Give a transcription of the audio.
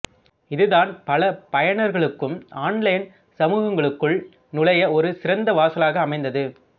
இது தான் பல பயனர்களுக்கும் ஆன்லைன் சமூகங்களுக்குள் நுழைய ஒரு சிறந்த வாசலாக அமைந்தது